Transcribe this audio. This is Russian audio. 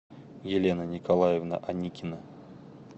елена николаевна аникина